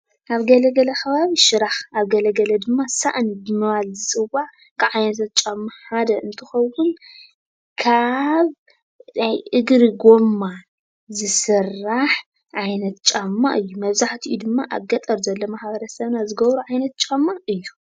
ኣብ ገለገለ ከባቢ ሽራኽ ኣብ ገለገለ ድማ ሳእኒ ብምባል ዝፅዋዕ ካብ ዓይነታት ጫማ ሓደ እንትኸውን ካብ እግሪ ጎማ ዝስራሕ ዓይነት ጫማ እዩ፡፡ መብዛሕትኡ ድማ ኣብ ገጠር ዘሎ ማ/ሰብና ዝገብሮ ዓይነት ጫማ እዩ፡፡